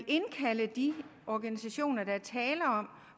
at indkalde de organisationer der er tale om